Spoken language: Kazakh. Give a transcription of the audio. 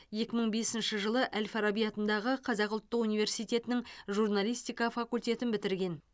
екі мың бесінші жылы әл фараби атындағы қазақ ұлттық университетінің журналистика факультетін бітірген